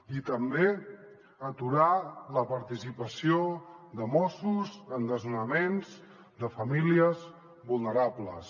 i també aturar la participació de mossos en desnonaments de famílies vulnerables